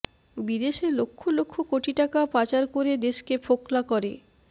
বিদেশে লক্ষ লক্ষ কোটি টাকা পাচার করে দেশকে ফোকলা করে